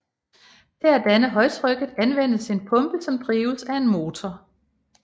Til at danne højtrykket anvendes en pumpe som drives af en motor